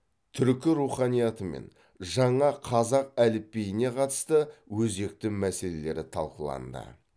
түркі руханиятымен жаңа қазақ әліпбиіне қатысты өзекті мәселелері талқыланды